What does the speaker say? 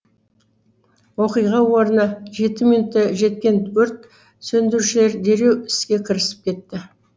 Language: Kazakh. оқиға орнына жеті минутта жеткен өрт сөндірушілер дереу іске кірісіп кетті